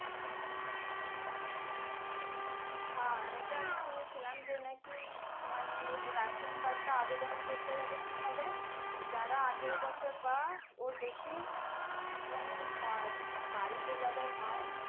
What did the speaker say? হ্যাঁ এটা আমি শুনেছিলাম যে নাকি মানে ration card টা আগে যেমন করতে গেলে কি হবে যারা আঠেরো বছর বা ওর বেশি মানে হ্যাঁ বাড়িতে যাদের হয়